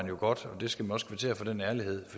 jo godt og skal også kvittere for den ærlighed